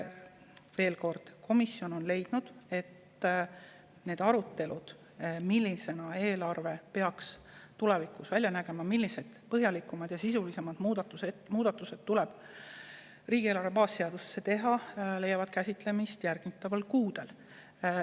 Veel kord: komisjon on leidnud, et arutelud selle üle, milline peaks eelarve tulevikus välja nägema, millised põhjalikumad ja sisulisemad muudatused tuleb riigieelarve baasseadusesse teha, leiavad käsitlemist järgmistel kuudel.